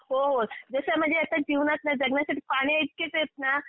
हो हो. जसं म्हणजे जीवनात ना जगण्यासाठी पाण्याइतकेच येत ना